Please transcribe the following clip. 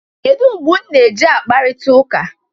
Kedụ mgbe ụnụ na-e ji akparịta ụka?